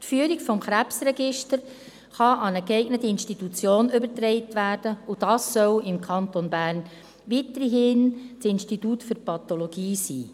Die Führung des Krebsregisters kann an eine geeignete Institution übertragen werden, und dies soll im Kanton Bern weiterhin das Institut für Pathologie sein.